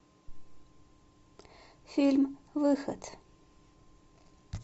фильм выход